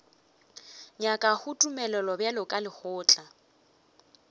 nyakago tumelelo bjalo ka lekgotla